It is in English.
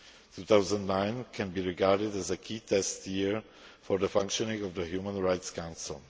2009 can be regarded as a key test year for the functioning of the Human Rights